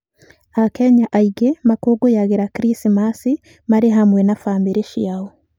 Akenya aingĩ makũngũyagĩra Krismasi marĩ hamwe na bamĩrĩ ciao.